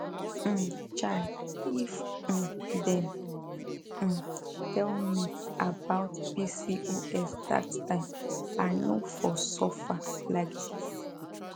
um chai if um dem um tell me about pcos that time i no for suffer like this